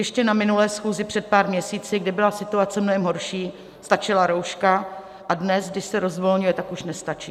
Ještě na minulé schůzi před pár měsíci, kdy byla situace mnohem horší, stačila rouška, a dnes, kdy se rozvolňuje, tak už nestačí.